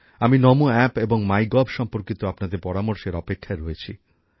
আমি নমো অ্যাপ এবং MyGov সম্পর্কিত আপনাদের পরামর্শের অপেক্ষায় রয়েছি